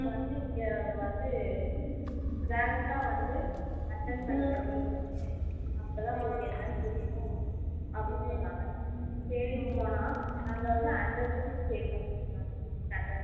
வந்து இங்க வந்து direct ஆ வந்து attend பண்ணுங்க meeting அப்போ தான் உங்களுக்கு எண்ணனு புரியும் அப்படினு சொன்னாங்க சரினூ போனா அங்க வந்து hundred rupees pay பன்னா சொல்லுறாங்க meeting attend பன்ன